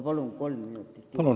Palun kolm minutit lisaaega!